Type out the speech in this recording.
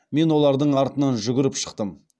мен олардың артынан жүгіріп шықтым